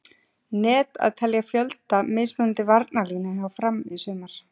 Net að telja fjölda mismunandi varnarlína hjá Fram í sumar?